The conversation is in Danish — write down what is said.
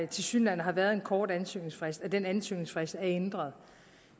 tilsyneladende har været en kort ansøgningsfrist at den ansøgningsfrist er ændret